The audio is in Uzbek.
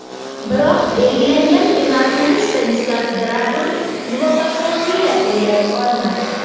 Biroq belgilangan penaltini Stanislav Dragun muvaffaqiyatli yakunlay olmadi.